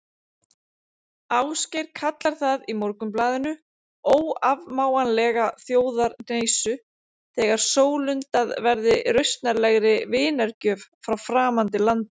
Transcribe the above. Ásgeir kallar það í Morgunblaðinu óafmáanlega þjóðarhneisu þegar sólundað verði rausnarlegri vinargjöf frá framandi landi.